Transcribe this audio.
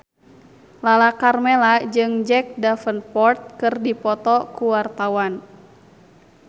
Lala Karmela jeung Jack Davenport keur dipoto ku wartawan